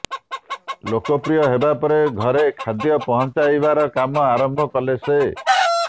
ଲୋକପ୍ରିୟ ହେବାପରେ ଘରେ ଖାଦ୍ୟ ପହଁଚାଇବାର କାମ ଆରମ୍ଭ କଲେ ସେ